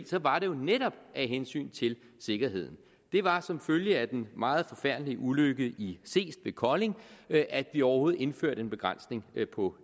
så var det jo netop af hensyn til sikkerheden det var som følge af den meget forfærdelige ulykke i seest ved kolding at vi overhovedet indførte en begrænsning på